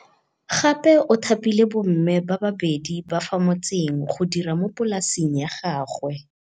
Gape o thapile bomme ba babedi ba fa motseng go dira mo polasing ya gagwe.